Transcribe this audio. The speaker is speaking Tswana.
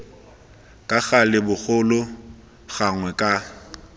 ka gale bogolo gangwe ka